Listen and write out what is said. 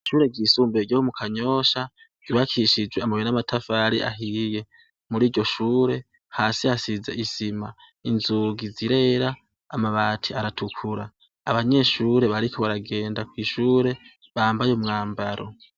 Ishure ryisumbuye ryo mu kanyosha ryubakishijwe amabuye namatafari ahiye muriryoshure hasi hasize isima inzugi zirera amabati aratukura abanyeshure bariko baragenda kwishure bambaye umwambaro